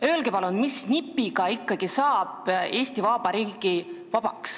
Öelge palun, mis nipiga saab Eesti Vabariik ikkagi vabaks.